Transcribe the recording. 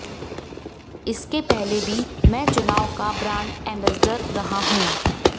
इसके पहले भी मैं चुनाव का ब्रांड एम्बेसडर रहा हूं